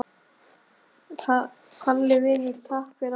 Kalli vinur, takk fyrir allt.